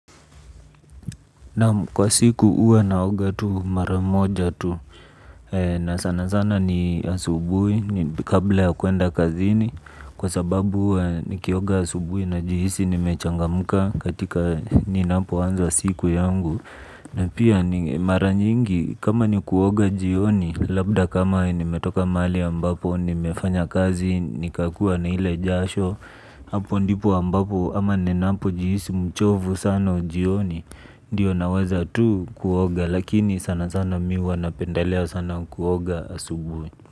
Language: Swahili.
Kwa siku huwa naoga tu mara moja tu. Na sana sana ni asubuhi kabla ya kuenda kazini. Kwa sababu huwa nikioga asubuhi najihisi nimechangamka. Katika ninapo anza siku yangu na pia ni mara nyingi kama ni kuoga jioni. Labda kama nimetoka mahali ambapo ni mefanya kazi nika kuwa na ile jasho hapo ndipo ambapo ama ninapojihisi mchovu sana jioni. Ndiyo naweza tu kuoga lakini sana sana mi huwa napendelea sana kuoga asubuhi.